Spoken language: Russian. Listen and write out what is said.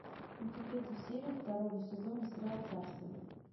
найти третью серию второго сезона сериал царство